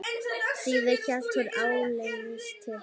Síðan hélt hún áleiðis til